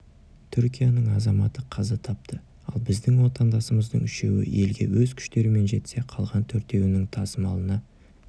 түркияның азаматы қаза тапты ал біздің отандасымыздың үшеуі елге өз күштерімен жетсе қалған төртеуінің тасымалына